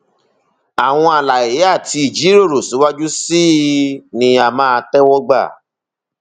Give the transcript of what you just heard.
àwọn àlàyé àti ìjíròrò síwájú sí i ni a máa tẹwọ gbà